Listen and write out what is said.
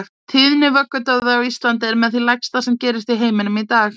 Tíðni vöggudauða á Íslandi er með því lægsta sem gerist í heiminum í dag.